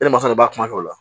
E ni masa de b'a kuma kɛ o la